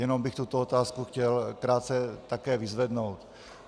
Jenom bych tuto otázku chtěl krátce také vyzvednout.